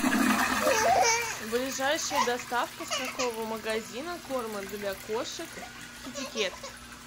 ближайшая доставка с какого магазина корма для кошек китекет